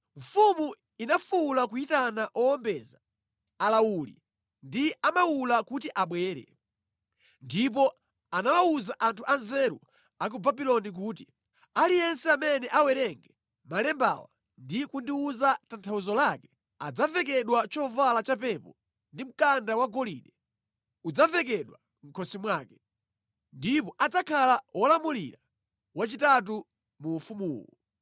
Mfumu inafuwula kuyitana owombeza, alawuli ndi amawula kuti abwere. Ndipo anawawuza anthu anzeru a ku Babuloni kuti, “Aliyense amene awerenge malembawa ndi kundiwuza tanthauzo lake adzavekedwa chovala cha pepo ndi mkanda wa golide udzavekedwa mʼkhosi mwake, ndipo adzakhala wolamulira wachitatu mu ufumuwu.”